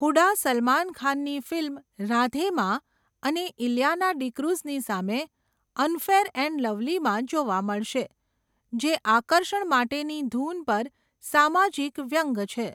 હુડા સલમાન ખાનની ફિલ્મ 'રાધે'માં અને ઇલિયાના ડીક્રૂઝની સામે 'અનફેયર એન્ડ લવલી'માં જોવા મળશે જે આકર્ષણ માટેની ધૂન પર સામાજિક વ્યંગ્ય છે.